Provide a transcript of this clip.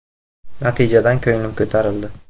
Natijadan ko‘nglim ko‘tarildi.